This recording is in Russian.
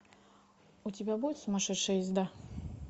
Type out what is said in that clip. у тебя будет сумасшедшая езда